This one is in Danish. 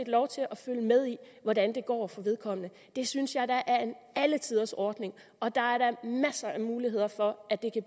lov til at følge med i hvordan det går for vedkommende det synes jeg er en alletiders ordning og der er da masser af muligheder for at det kan